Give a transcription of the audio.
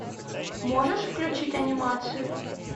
можешь включить анимацию